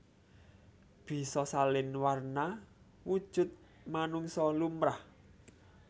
Bisa salin warna wujud manungsa lumrah